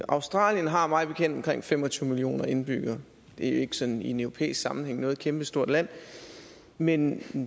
australien har mig bekendt omkring fem og tyve millioner indbyggere det så i en europæisk sammenhæng ikke noget kæmpestort land men